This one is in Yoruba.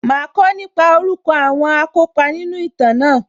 Màá kọ́ nípa orúkọ àwọn akópa nínú ìtàn náà